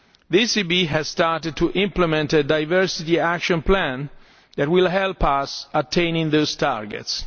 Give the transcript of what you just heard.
The ECB has started to implement a diversity action plan that will help us to attain those targets.